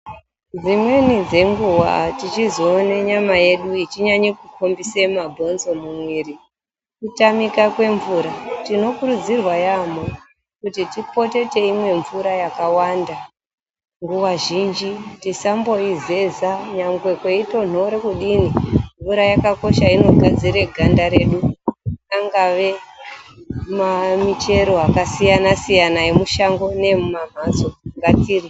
Dzimweni dzenguwa tiochizoona nyama yedu ichinyanya kubudisa mabhonzo mumwiri kutamika kwemvura. Tinokurudzirwa yaamho kuti tipote teimwa mvura yakawanda nguwa zhinji. Tisamboizeza nyangwe kweitonhora kudini. Mvura yakakosha inogadzirE ganda redu. Angave mamuchero akasiyana siyana emushango neemumamhatso ngatidyre.